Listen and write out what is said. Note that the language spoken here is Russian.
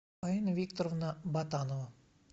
фаина викторовна батанова